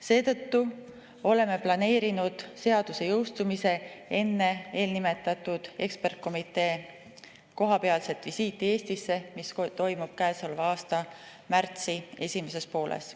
Seetõttu oleme planeerinud seaduse jõustumise enne eelnimetatud ekspertkomitee visiiti Eestisse, mis toimub käesoleva aasta märtsi esimeses pooles.